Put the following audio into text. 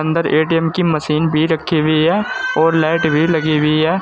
अंदर ए_टी_एम की मशीन भी रखी हुई है और लाइट भी लगी हुई है।